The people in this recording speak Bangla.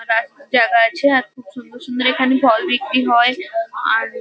আর রাস জায়গা আছে। আর খুব সুন্দর সুন্দর এখানে ফল বিক্রি হয়। আর --